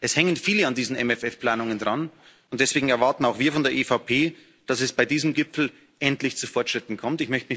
Es hängen viele an diesen MFR Planungen dran und deswegen erwarten auch wir von der EVP, dass es bei diesem Gipfel endlich zu Fortschritten kommt.